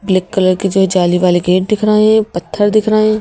Black colour के जो जाली वाले गेट दिख रहे हैं पत्थर दिख रहे हैं।